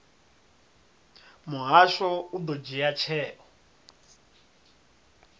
muhasho u ḓo dzhia tsheo